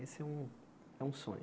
Esse é um é um sonho.